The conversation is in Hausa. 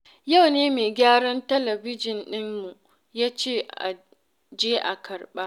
Yau ne mai gyaran talabijin ɗinmu yace aje a karɓa.